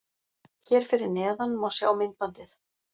Hér fyrir neðan má sjá myndbandið